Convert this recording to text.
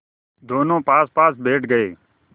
दोेनों पासपास बैठ गए